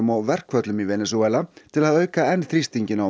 og verkföllum í Venesúela til að að auka enn þrýstinginn á